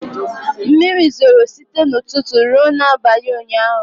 Mmiri zoro site n'ụtụtụ ruo n'abalị ụnyaahụ.